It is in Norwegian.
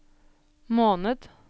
måned